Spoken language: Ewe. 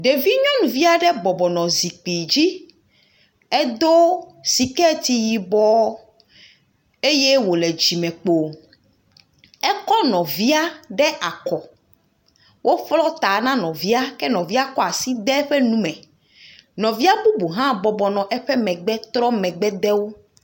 Ɖevi nyɔnuvi aɖe bɔbɔ nɔ zikpui dzi. Edo siketi yibɔ eye wole dzime kpo. Ekɔ nɔvia ɖe akɔ. Wo ƒlɔ ta na nɔvia. ŋuEnɔvia kɔa si ede eƒe nu me. Nɔvia bubu hã bɔbɔ nɔ anyi ɖe eƒe megbe trɔ megbe de wò.